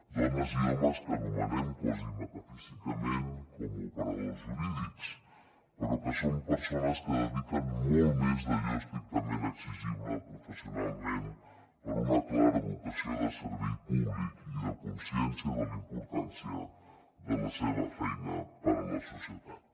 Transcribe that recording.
dones i homes que anomenem quasi metafísicament operadors jurídics però que són persones que dediquen molt més d’allò estrictament exigible professionalment per una clara vocació de servei públic i de consciència de la importància de la seva feina per a la societat